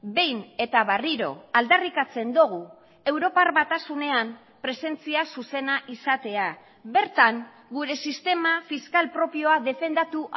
behin eta berriro aldarrikatzen dugu europar batasunean presentzia zuzena izatea bertan gure sistema fiskal propioa defendatu